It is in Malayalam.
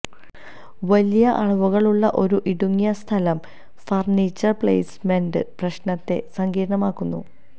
വലിയ അളവുകൾ ഉള്ള ഒരു ഇടുങ്ങിയ സ്ഥലം ഫർണിച്ചർ പ്ലെയ്സ്മെന്റ് പ്രശ്നത്തെ സങ്കീർണമാക്കുന്നു